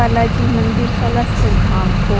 बालाजी मंदिर सालासर धाम को।